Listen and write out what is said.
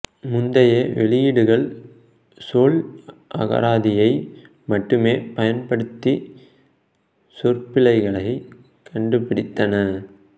முந்தைய வெளியீடுகள் சொல் அகராதியை மட்டுமே பயன்படுத்தி சொற்பிழைகளைக் கண்டுபிடித்தன